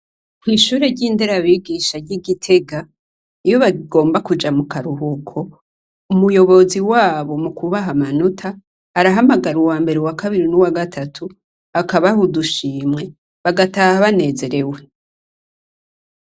Kwishure ry'Inderabigisha ry'I Gitega iyo bagomba kuja mukaruhuko, umuyobozi wabo mukubaha amanota arahamagara uwambere uwakabiri nuwagatatu akabaha udushimwe bagataha banezerewe.